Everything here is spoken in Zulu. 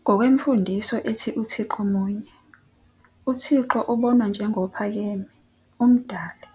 Ngokwemfundiso ethi uThixomunye, uThixo ubonwa njengophakeme, uMdali,